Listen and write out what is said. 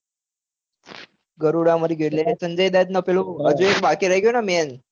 ગરૂડા મારીઓ ગયો એટલ એને સંજય દત્ત ને હજુ એક બાકી રાઈ ગયો ને main